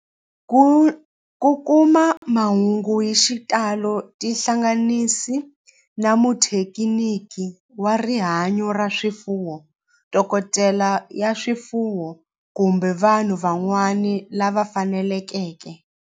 Ku kuma mahungu hi xitalo tihlanganisi na muthekiniki wa rihanyo ra swifuwo, dokodela ya swifuwo, kumbe vanhu van'wana lava fanelekeke